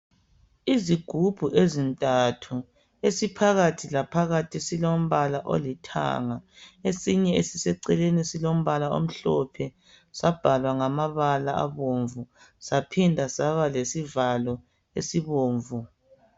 Izigubhu ezintathu esiphakathi laphakathi silombala olithanga, esinye esiseceleni silombala omhlophe, sabhalwa ngamabala abomvu saphinda saba lesivalo esibomvu.